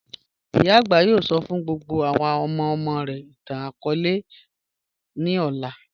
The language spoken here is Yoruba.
Iyà agbà yóò sọ́ fún gbogbo àwọn ọmọ-ọmọ rẹ̀ ìtàn-akọọlẹ̀ ní alẹ ọlá.